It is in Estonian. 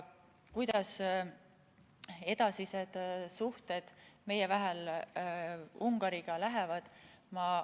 Kuidas meie edasised suhted Ungariga lähevad?